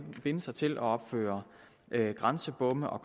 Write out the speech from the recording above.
binde sig til at opføre grænsebomme og